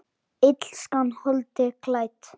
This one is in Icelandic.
Illskan holdi klædd?